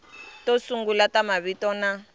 to sungula ta mavito na